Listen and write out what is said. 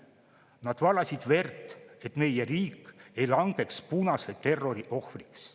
Nad valasid verd, et meie riik ei langeks punase terrori ohvriks.